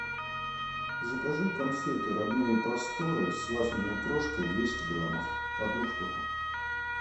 закажи конфеты родные просторы с вафельной крошкой двести граммов одну штуку